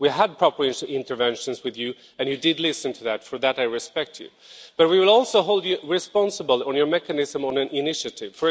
We had proper interventions with you and you did listen. For that I respect you. But we will also hold you responsible on your mechanism on initiatives.